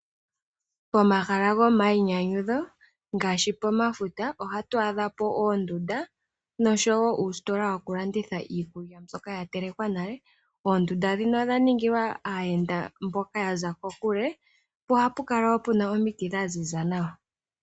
Pomahala gomayinyanyudho ngaashi pomafuta ohatu adha po oondunda noshowo uusitola woku landitha okulya mbyoka ya telekwa nale. Oondunda dhino odha ningilwa aayenda mboka ya za kokule po ohapu kala wo pu na omiti dha ziza nawa.